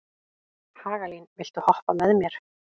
Hagalín, viltu hoppa með mér?